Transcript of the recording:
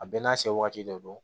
A bɛɛ n'a se waati dɔ don